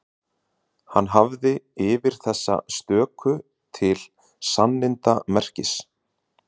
Hann hafði yfir þessa stöku til sannindamerkis